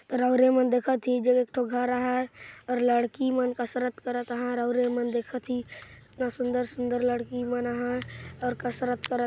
रौरीया मन देखत हैं इहि जग एक ठो घर हैं और लड़की मन कसरत हैं रौरीया मन देखा थी इतना सुंदर-सुंदर लड़की मन ह कसरत करा--